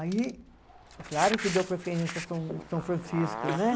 Aí, claro que deu preferência a São Francisco, né?